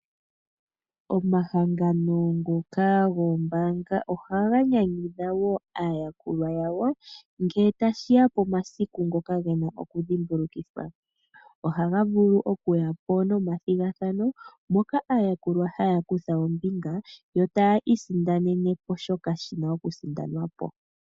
Omahangano ngoka goombanga ohaga nyanyudha wo aayakulwa yawo nge tashiya pomasiku ngoka gena oku dhimbulukithwa. Ohaga vulu okuyapo nomathigathano moka aayakulwa haya kutha ombinga yo taya isindanene oshoka shina oku sindanwapo.